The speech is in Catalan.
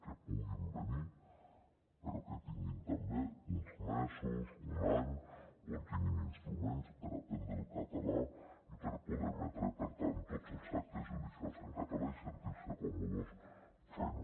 que puguin venir però que tinguin també uns mesos un any on tinguin instruments per aprendre el català i per poder emetre per tant tots els actes judicials en català i sentir se còmodes fent ho